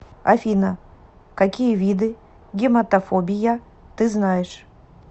афина какие виды гематофобия ты знаешь